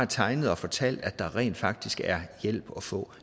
tegnet og fortalt at der rent faktisk er hjælp at få